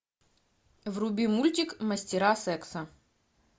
вруби мультик мастера секса